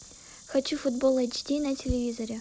хочу футбол эйч ди на телевизоре